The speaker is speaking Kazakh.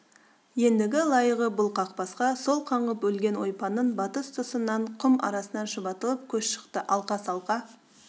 ендігі лайығы бұл қақбасқа сол қаңғып өлген ойпаңның батыс тұсынан құм арасынан шұбатылып көш шықты алқа-салқа